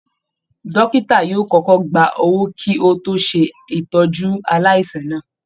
Dọ́kítà yóò kọ́kọ́ gba owó kí ó tó ṣètọ́jú aláìsàn náà